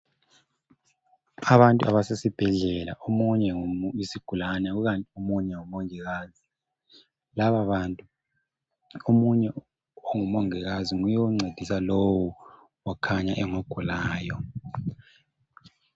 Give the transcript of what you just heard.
Abantu abasesibhedlela omunye yisigulane omunye ngumongikazi. Lababantu omunye ongumongikazi nguye oncedisa lowu okhanya engogulayo.